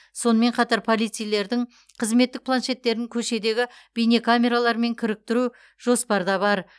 сонымен қатар полицейлердің қызметтік планшеттерін көшедегі бейнекамералармен кіріктіру жоспарда бар